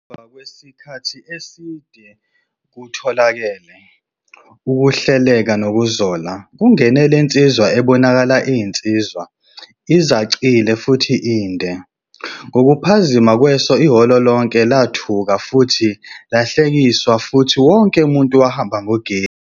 Ngemuva kwesikhathi eside kutholakale ukuhleleka nokuzola, kungene le nsizwa ebonakala iyinsizwa,. izacile futhi inde. Ngokuphazima kweso ihholo lonke lathuka futhi lahlekiswa futhi wonke umuntu wahamba ngogesi.